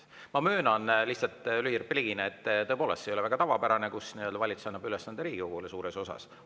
Ma lihtsalt möönan lühirepliigina, et tõepoolest see ei ole väga tavapärane, kui valitsus annab suurema osa ülesandest Riigikogule.